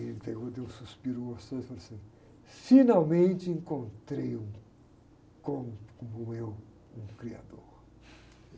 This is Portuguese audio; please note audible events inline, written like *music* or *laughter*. Aí ele pegou, deu um suspiro gostoso e falou assim, finalmente encontrei um *unintelligible* como eu, um criador.